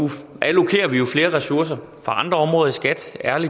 allokerer vi jo flere ressourcer fra andre områder i skat